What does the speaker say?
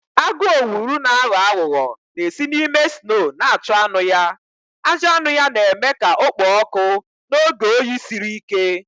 Agụ owulu na-aghọ aghụghọ na-esi n'ime snoo na-achụ anụ ya, ajị anụ ya na-eme ka ọ kpoo ọkụ n'oge oyi siri ike.